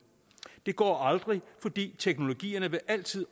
det går aldrig fordi teknologierne altid